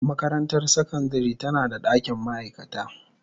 Makarantar sakandare tana da dakin ma'aikata.